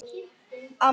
Á meðan